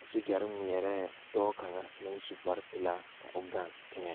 a soogyɛre ŋmeɛrɛɛ dɔɔ kaŋa naŋ su kparepelaa ka o gaŋ teŋɛ.